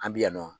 An bɛ yan nɔ